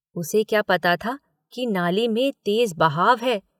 उसे क्या पता कि नाली में तेज बहाव है?